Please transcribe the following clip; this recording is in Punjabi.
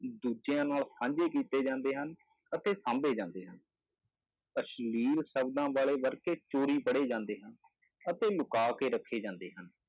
ਦੂਜਿਆਂ ਨਾਲ ਸਾਂਝੇ ਕੀਤੇ ਜਾਂਦੇ ਹਨ, ਅਤੇ ਸਾਂਭੇ ਜਾਂਦੇ ਹਨ ਅਸਲੀਲ ਸ਼ਬਦਾਂ ਵਾਲੇ ਵਰਕੇ ਚੋਰੀ ਪੜ੍ਹੇ ਜਾਂਦੇ ਹਨ ਅਤੇ ਲੁਕਾ ਕੇ ਰੱਖੇ ਜਾਂਦੇ ਹਨ,